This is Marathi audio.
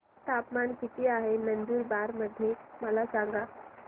तापमान किता आहे नंदुरबार मध्ये मला सांगा